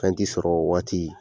Fɛn tɛ sɔrɔ o waati